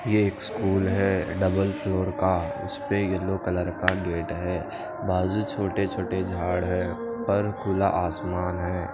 ये एक स्कूल है डबल फ्लोर का इस्पे येलो कलर गेट है बाजु छोटे छोटे झाड़ है उर खुला आसमान है।